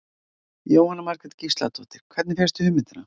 Jóhanna Margrét Gísladóttir: Hvernig fékkstu hugmyndina?